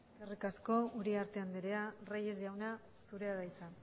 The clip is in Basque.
eskerrik asko uriarte andrea reyes jauna zurea da hitza